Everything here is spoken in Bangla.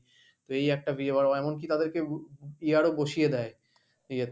তো এই একটা এমনকি তাদেরকে year ও বসিয়ে দেয় ইয়েতে।